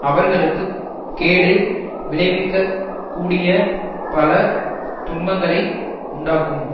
அவர்களுக்கு கேடு விளைவிக்க கூடிய பல துன்பங்களை உண்டாக்கும்